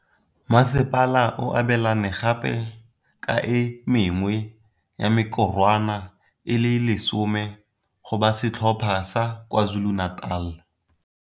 Masepala o abelane gape ka e mengwe ya mekorwana e le 10 go ba setlhopha sa KwaZulu-Natal.